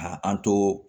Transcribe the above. A an to